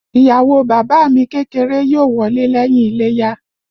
Ìyàwó o bàbá à mi kékeré yóò wọlé lẹ́yìn iléyá